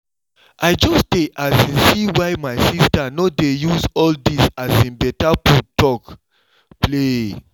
i just dey um see why my sister no dey use all this um better food talk play